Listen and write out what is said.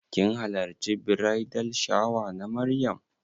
Kin hallarci bridal shower na Maryam?